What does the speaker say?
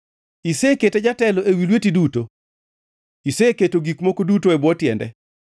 Isekete jatelo ewi tich lweti duto; iseketo gik moko duto e bwo tiende: